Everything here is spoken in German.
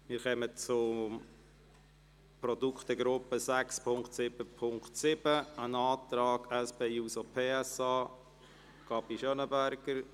Wir kommen zur Produktegruppe 6.7.7 und einem Antrag der SP-JUSO-PSA von Grossrätin Gabi Schönenberger.